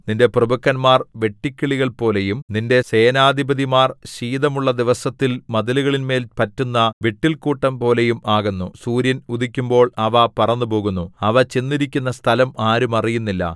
നിന്റെ പ്രഭുക്കന്മാർ വെട്ടുക്കിളികൾപോലെയും നിന്റെ സേനാധിപതിമാർ ശീതമുള്ള ദിവസത്തിൽ മതിലുകളിന്മേൽ പറ്റുന്ന വിട്ടിൽക്കൂട്ടംപോലെയും ആകുന്നു സൂര്യൻ ഉദിക്കുമ്പോൾ അവ പറന്നുപോകുന്നു അവ ചെന്നിരിക്കുന്ന സ്ഥലം ആരും അറിയുന്നില്ല